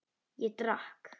Ég drakk.